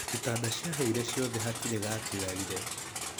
Itanda ciahire ciothe hatirĩ gatigarire.